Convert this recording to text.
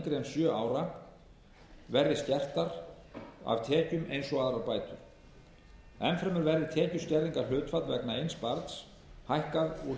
en sjö ára verði skertar af tekjum eins og aðrar bætur enn fremur verði tekjuskerðingarhlutfall vegna eins barns hækkað úr tveimur prósentum